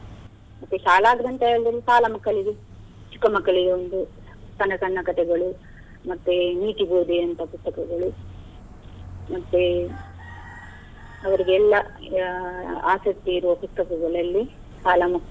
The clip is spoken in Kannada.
ಮತ್ತೆ ಶಾಲಾ ಗ್ರಂಥಾಲಯದಲ್ಲಿ ಶಾಲಾ ಮಕ್ಕಳಿಗೆ ಚಿಕ್ಕ ಮಕ್ಕಳಿಗೆ ಒಂದು ಸಣ್ಣ ಸಣ್ಣ ಕಥೆಗಳು, ಮತ್ತೆ ನೀತಿ ಬೋಧಿ ಅಂತಹ ಪುಸ್ತಕಗಳು, ಮತ್ತೆ ಅವ್ರಿಗೆಲ್ಲಾ ಆಸಕ್ತಿ ಇರುವ ಪುಸ್ತಕಗಳಲ್ಲಿ ಶಾಲಾ ಮಕ್ಕಳು.